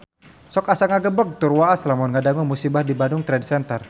Sok asa ngagebeg tur waas lamun ngadangu musibah di Bandung Trade Center